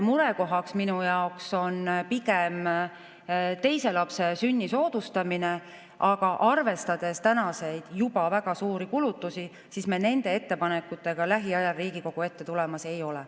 Murekohaks minu jaoks on pigem teise lapse sünni soodustamine, aga arvestades juba praeguseid väga suuri kulutusi, me nende ettepanekutega lähiajal Riigikogu ette tulemas ei ole.